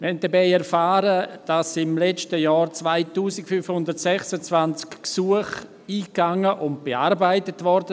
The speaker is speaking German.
Wir haben dabei erfahren, dass im letzten Jahr 2526 Gesuche eingingen und bearbeitet wurden;